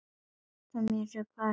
Tímoteus, hver syngur þetta lag?